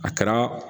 A kɛra